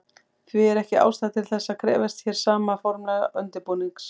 Því er ekki ástæða til þess að krefjast hér sama formlegs undirbúnings.